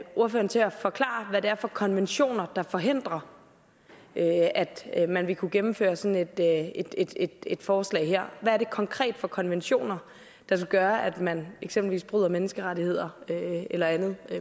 ordføreren til at forklare hvad det er for konventioner der forhindrer at man vil kunne gennemføre sådan et forslag her hvad er det konkret for konventioner der gør at man eksempelvis bryder menneskerettighederne eller andet